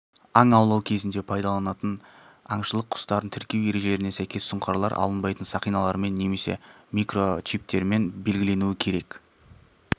аң аулау кезінде пайдаланылатын аңшылық құстарын тіркеу ережелеріне сәйкес сұңқарлар алынбайтын сақиналармен немесе микрочиптермен белгіленуі керек